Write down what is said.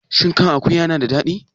Shin kan akuwa yana da daɗi?